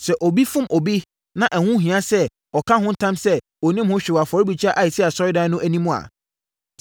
“Sɛ obi fom obi, na ɛho hia sɛ ɔka ho ntam sɛ ɔnnim ho hwee wɔ afɔrebukyia a ɛsi asɔredan mu no anim a,